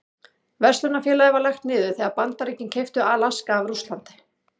Verslunarfélagið var lagt niður þegar Bandaríkin keyptu Alaska af Rússlandi.